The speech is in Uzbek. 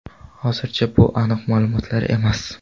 Hozircha bu aniq ma’lumotlar emas.